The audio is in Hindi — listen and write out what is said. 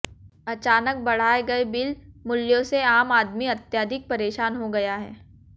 अचानक बढ़ाए गए बिल मूल्यों से आम आदमी अत्यधिक परेशान हो गया है